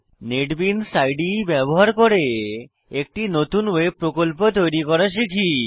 NetBeans ইদে ব্যবহার করে একটি নতুন ওয়েব প্রকল্প তৈরি করা শিখি